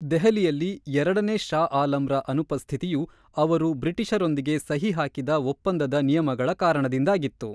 ದೆಹಲಿಯಲ್ಲಿ ಎರಡನೇ ಷಾ ಆಲಂರ ಅನುಪಸ್ಥಿತಿಯು ಅವರು ಬ್ರಿಟಿಷರೊಂದಿಗೆ ಸಹಿ ಹಾಕಿದ್ದ ಒಪ್ಪಂದದ ನಿಯಮಗಳ ಕಾರಣದಿಂದಾಗಿತ್ತು.